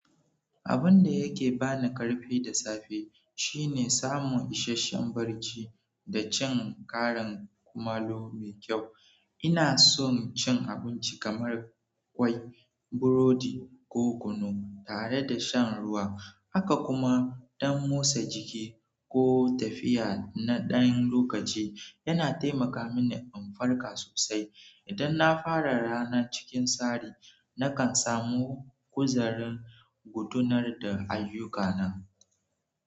Abun da yake ba ni ƙarfi da safe shine samun isasshen barci da cin ƙarin kumallo mai kyau. Ina so cin abinci kamar ƙwai, burodi ko kunu tare da shan ruwa, haka kuma ɗan motsa jiki ko tafiya na ɗan lokaci yana taimaka mini in farka sosai. Idan na fara rana cikin tsari, nakan samu kuzarin gudanar da ayyukana.